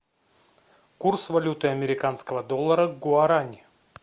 курс валюты американского доллара к гуарани